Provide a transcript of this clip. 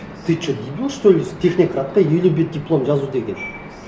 ты что дебил что ли технократта елу бет диплом жазу деген